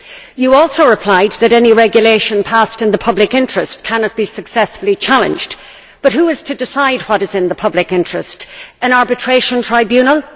You also replied that any regulation passed in the public interest cannot be successfully challenged, but who is to decide what is in the public interest an arbitration tribunal?